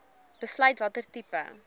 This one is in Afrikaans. besluit watter tipe